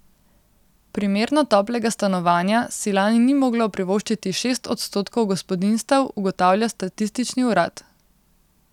Primerno toplega stanovanja si lani ni moglo privoščiti šest odstotkov gospodinjstev, ugotavlja statistični urad.